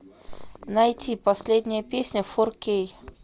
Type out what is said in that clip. найти последняя песня фор кей